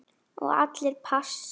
Og allir pass.